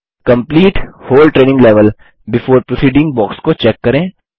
complete whole training level before proceeding box को check करें